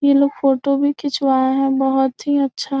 ये लोग फोटो भी खिंचवाएं हैं बहुत ही अच्छा --